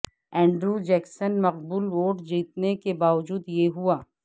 Andrew Jackson مقبول vote جیتنے کے باوجود یہ ہوا